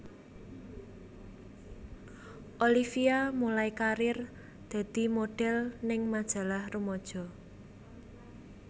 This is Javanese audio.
Olivia mulai karir dadi modhel ning majalah rumaja